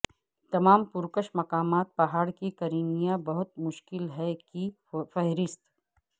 تمام پرکشش مقامات پہاڑ کی کریمیا بہت مشکل ہے کی فہرست